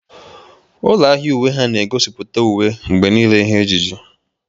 Ụlọ ahịa uwe ha na egosipụta uwe mgbe niile ihe ejiji.